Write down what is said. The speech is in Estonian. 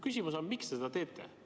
Miks te seda teete?